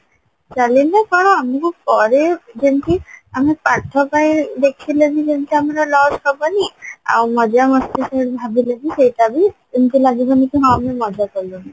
କଣ ଆମକୁ ପରେ ଯେମିତି ଆମେ ପାଠ ପାଇଁ ଯେମିତି ଦେଖିଲେନି ଯେମିତି ଆମର loss ହବନି ଆଉ ମଜା ମସ୍ତି ଭାବିଲେ ସେଇଟା ବି ଏମତି ଲାଗିବନି କି ହଁ ଆମେ ମଜା କଲୁନି